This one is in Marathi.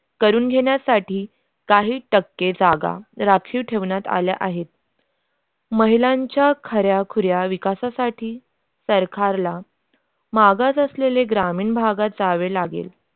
करून घेण्यासाठी काही जागा राखीव ठेवण्यात आल्या आहेत महिलांच्या खऱ्याखुऱ्या विकासासाठी सरकारला मागास असलेले ग्रामीण भागाला जावे लागेल.